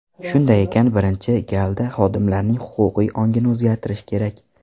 Shunday ekan, birinchi galda xodimlarning huquqiy ongini o‘zgartirish kerak.